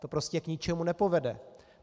To prostě k ničemu nepovede.